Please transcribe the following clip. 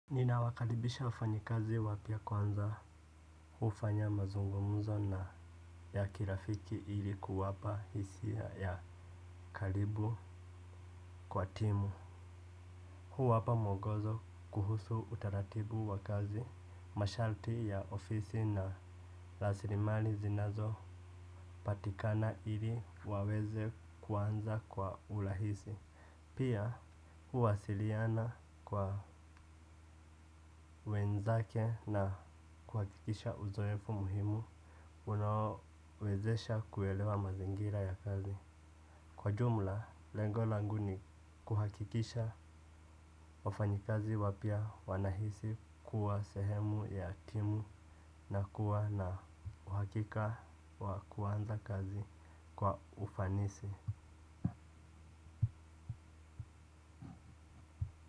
Nina wakaribisha wafanyikazi wapya kwanza hufanya mazungumuzo na ya kirafiki ilikuwapa hisia ya karibu kwa timu. Huwapa mwongozo kuhusu utaratibu wa kazi masharti ya ofisi na raslimali zinazopatikana ili waweze kuanza kwa urahisi. Pia huwasiliana kwa wenzake na kuhakikisha uzoefu muhimu unaowezesha kuelewa mazingira ya kazi. Kwa jumla, lengo langu ni kuhakikisha wafanyikazi wapya wanahisi kuwa sehemu ya timu na kuwa na uhakika wa kuanza kazi kwa ufanisi.